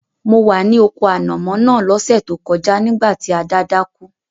Mo wa ni oko ànàmó náà lọ́sẹ̀ to kojá nígbàtí Ada dákú